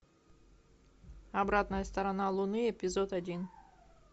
обратная сторона луны эпизод один